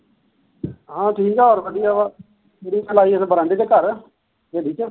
ਹਾ ਠੀਕਾ ਹੋਰ ਵਧੀਆਂ ਤੂੜੀ ਖਿਲਾਰੀ ਬਰਾਂਡੇ ਚ ਘਰ ਹਵੇਲੀ ਚ